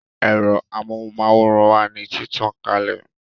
Ero amóhùn máwòrán wà ní títàn kalẹ̀